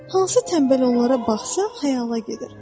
Hansı tənbəl onlara baxsa, xəyala gedir.